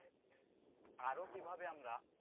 আরো কিভাবে আমরা